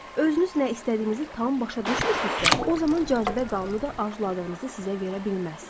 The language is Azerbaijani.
Özünüz nə istədiyinizi tam başa düşmürsünüzsə, o zaman cazibə qanunu da arzuladığınızı sizə verə bilməz.